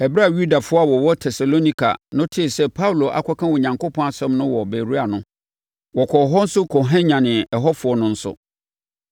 Ɛberɛ a Yudafoɔ a wɔwɔ Tesalonika no tee sɛ Paulo akɔka Onyankopɔn asɛm no wɔ Beroia no, wɔkɔɔ hɔ nso kɔhwanyanee ɛhɔfoɔ no nso.